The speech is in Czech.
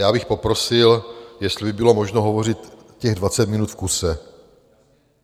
Já bych poprosil, jestli by bylo možno hovořit těch 20 minut v kuse.